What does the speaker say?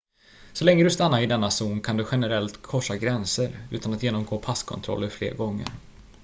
så länge du stannar i denna zon kan du generellt korsa gränser utan att genomgå passkontroller fler gånger